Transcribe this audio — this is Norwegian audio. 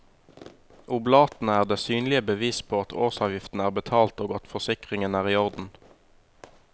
Oblatene er det synlige bevis på at årsavgift er betalt og at forsikringen er i orden.